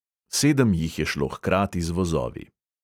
Sedem jih je šlo hkrati z vozovi.